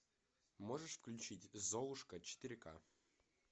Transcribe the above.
можешь включить золушка четыре ка